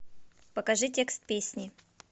покажи текст песни